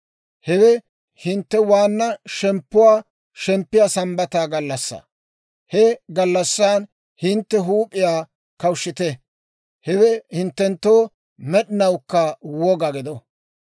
Hewe hintte waanna shemppuwaa shemppiyaa sambbata gallassaa. He gallassan hintte huup'iyaa kawushshite; hewe hinttenttoo med'inawukka woga gido.